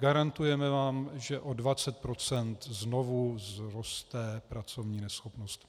Garantujeme vám, že o 20 % znovu vzroste pracovní neschopnost.